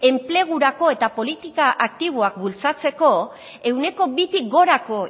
enplegurako eta politika aktiboak bultzatzeko ehuneko bi tik gorako